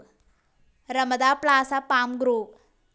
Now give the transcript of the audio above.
റമദാ Plaza Palm groove